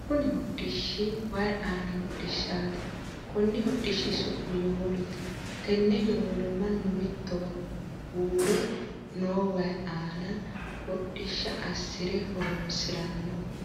Kunni hodhishi wayi aanni hodhishaati. Konni hodhishi su'mi yowolote. Tenne yowolo mannu mittowa huure noo wayi aanna hodhisha asire horoonsirano.